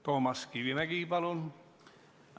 Toomas Kivimägi, palun!